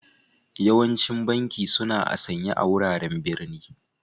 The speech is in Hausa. Yawancin banki suna a'sanye a wuraren birni.